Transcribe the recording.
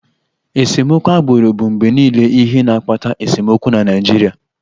Esemokwu agbụrụ bụ mgbe niile ihe na-akpata esemokwu na Naịjirịa